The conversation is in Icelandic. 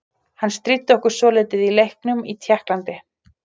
Hann stríddi okkur svolítið í leiknum í Tékklandi.